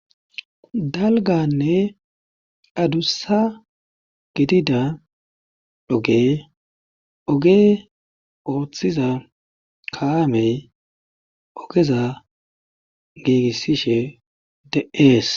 Dalganne adussa gidida oge oge ooththiza kalamey ogeza giigissishe de'ees.